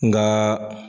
Nka